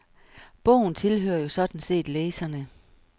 Bogen tilhører jo sådan set læserne.